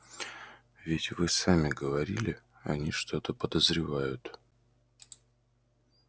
ведь вы сами говорили они что-то подозревают